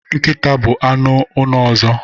Nkịta bụkwa anụ ụlọ ọzọ.